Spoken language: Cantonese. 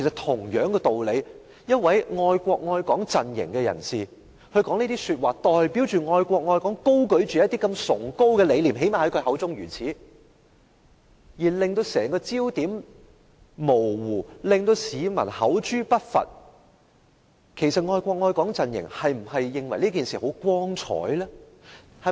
同一道理，一位屬愛國愛港陣營的人士說出這種話，以其代表他口中這麼崇高的愛國愛港理念而言，徒令焦點模糊，招來市民的口誅筆伐，那麼愛國愛港陣營是否認為這是很光彩的事情？